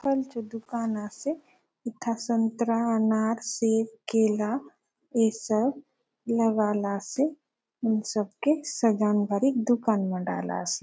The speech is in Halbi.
फल चो दुकान आसे इथा संतरा अनार सेब केला ये सब लगाला से हुन सबके सगाउन भाति दुकान मडाला से।